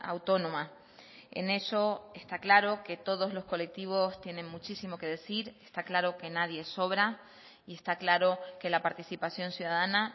autónoma en eso está claro que todos los colectivos tienen muchísimo que decir está claro que nadie sobra y está claro que la participación ciudadana